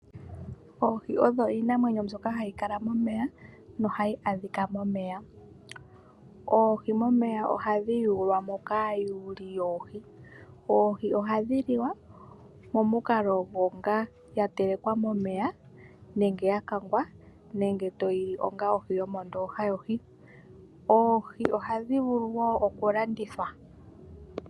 Oohi odho iinamwenyo mbyoka hayi kala momeya nohayi adhika momeya. Oohi momeya ohadhi yuulwamo kaakwati yoohi . Oohi ohadhi liwa momukalo gwa telekwa momeya nenge todhi kanga . Oohi ohadhi vulu woo oku landithwa.